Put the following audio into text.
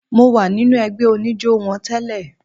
Mo wà nínú ẹgbẹ́ oníjó wọn tẹ́lẹ̀.